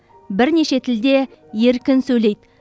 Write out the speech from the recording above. бірнеше тілде еркін сөйлейді